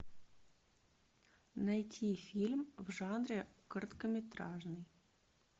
найти фильм в жанре короткометражный